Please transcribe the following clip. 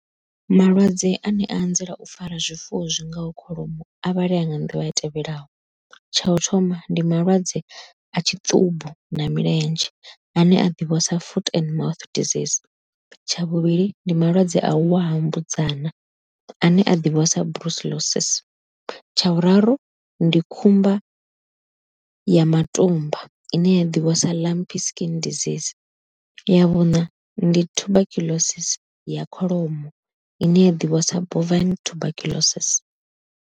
Malwadze ane a anzela u fara zwifuwo zwi ngaho kholomo a vhalea nga nḓila i tevhelaho, tsha u thoma ndi malwadze a tshiṱumbu na milenzhe ane a ḓivhiwa sa foot and disease tsha vhuvhili ndi malwadze a uwa ha mbudzana ane a ḓivhiwa sa tsha vhuraru ndi khumba ya matumba ine ya ḓivhiwa sa skin disease ya vhuṋa ndi tuberculosis ya kholomo ine ya ḓivhiwa sa tuberculosis.